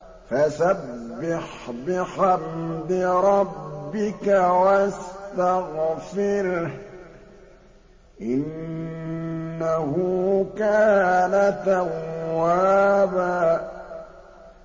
فَسَبِّحْ بِحَمْدِ رَبِّكَ وَاسْتَغْفِرْهُ ۚ إِنَّهُ كَانَ تَوَّابًا